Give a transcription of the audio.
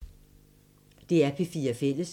DR P4 Fælles